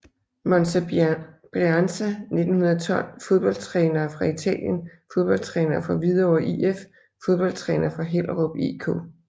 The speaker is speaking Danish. Monza Brianza 1912 Fodboldtrænere fra Italien Fodboldtrænere fra Hvidovre IF Fodboldtrænere fra Hellerup IK